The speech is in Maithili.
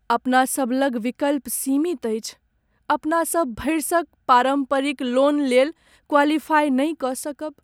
अपना सभ लग विकल्प सीमित अछि! अपनासभ भरिसक पारम्परिक लोनलेल क्वालिफाई नहि कऽ सकब।